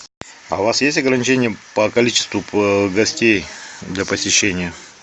а у вас есть ограничения по количеству гостей для посещения